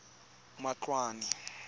matloane